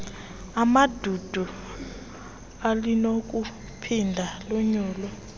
emandundu alinakuphinda lonyulwe